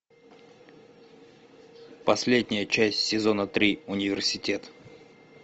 последняя часть сезона три университет